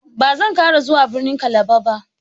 Ba zan ƙara zuwa birnin Kalaba ba.